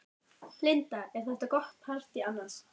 Linda: Er þetta gott partý annars?